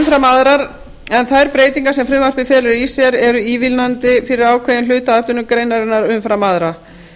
umfram aðrar en þær breytingar sem frumvarpið felur í sér eru ívilnandi fyrir ákveðinn hluta atvinnugreinarinnar umfram aðra